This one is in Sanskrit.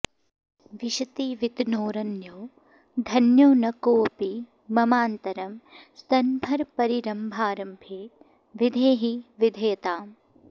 विशति वितनोरन्यो धन्यो न कोऽपि ममान्तरं स्तनभरपरीरम्भारम्भे विधेहि विधेयताम्